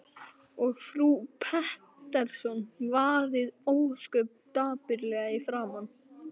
Og frú Pettersson varð ósköp dapurleg í framan.